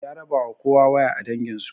Ya rabawa kowa waya a danginsu